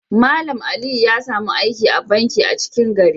Mallam Aliyu ya samu aiki a'banki a 'cikin gari.